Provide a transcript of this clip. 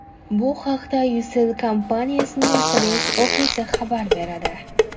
Bu haqda Ucell kompaniyasining press-ofisi xabar beradi.